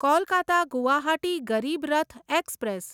Kolkata Guwahati Garib Rath express